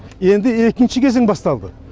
енді екінші кезең басталды